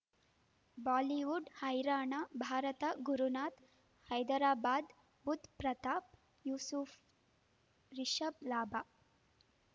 Bollywood ಹೈರಾಣ ಭಾರತ ಗುರುನಾಥ ಹೈದರಾಬಾದ್ ಬುಧ್ ಪ್ರತಾಪ್ ಯೂಸುಫ್ ರಿಷಬ್ ಲಾಭ